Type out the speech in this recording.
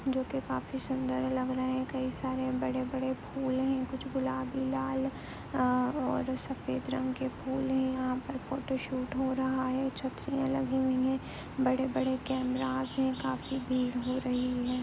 जो कि काफी सुंदर लग रहे हैं कई सारे बड़े-बड़े फूल हैं कुछ गुलाबी लाल आं और सफेद रंग के फूल है यहां पर फोटोशूट हो रहा है छतरिया लगी हुई है बड़े-बड़े कैमरास हैं काफी भीड़ हो रही है।